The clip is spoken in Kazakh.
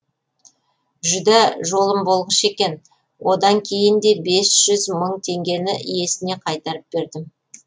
жүдә жолым болғыш екен одан кейін де бес жүз мың теңгені иесіне қайтарып бердім